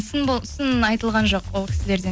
сын сын айтылған жоқ ол кісілерден